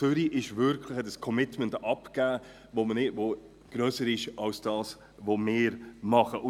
Zürich hat also wirklich ein Commitment abgegeben, das grösser ist, als das, was wir tun.